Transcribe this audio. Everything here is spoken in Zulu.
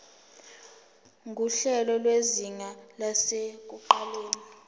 nguhlelo lwezinga lasekuqaleni